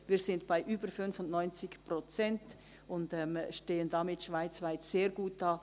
Wir sind bei über 95 Prozent und stehen damit schweizweit sehr gut da.